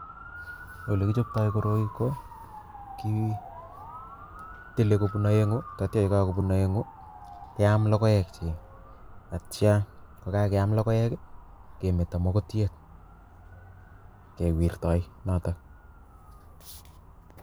Olekichoptoi koroi ko kitile kobun aeng'u tatcho keam lokoek chik atcho ndakakeam lokoek kemeto mokotiet kewirtoi notok